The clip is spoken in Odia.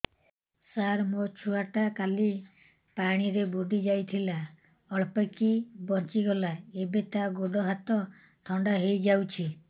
ସାର ମୋ ଛୁଆ ଟା କାଲି ପାଣି ରେ ବୁଡି ଯାଇଥିଲା ଅଳ୍ପ କି ବଞ୍ଚି ଗଲା ଏବେ ତା ଗୋଡ଼ ହାତ ଥଣ୍ଡା ହେଇଯାଉଛି